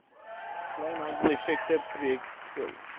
kleinhandel effekte portefeulje